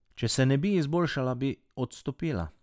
Če se ne bi izboljšala, bi odstopila.